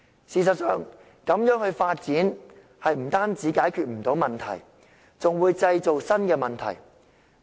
事實上，這樣發展不單不能解決問題，更會製造新的問題。